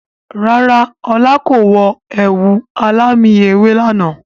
Rárá, ọlá kò wọ ẹ̀wù alámì ewé lànà.